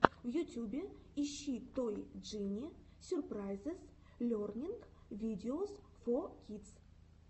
в ютюбе ищи той джини сюрпрайзес лернинг видеос фор кидс